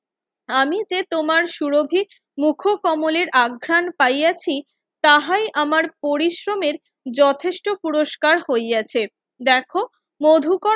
আমি যে তোমার সুরোহী মুখ কমলের অঘ্রান পাইয়াছি তাহাই আমার পরিশ্রমের যথেষ্ট পুরস্কার হইয়াছে দেখো মধুকর